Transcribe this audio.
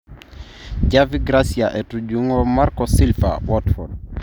Javi Gracia etujungo Marco Silva, Watford